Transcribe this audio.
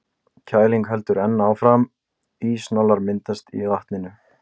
Kælingin heldur enn áfram, ísnálar myndast í vatninu.